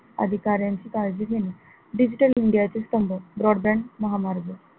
अधिकारांची काळजी घेणे digital India चे स्तंभ broadband महामार्ग,